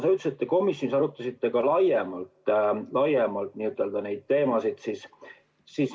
Sa ütlesid, et te komisjonis arutasite ka laiemalt neid teemasid.